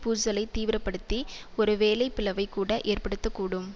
பூசலைத் தீவிர படுத்தி ஒருவேளை பிளவைக் கூட ஏற்படுத்த கூடும்